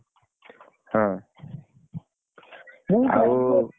ହଁ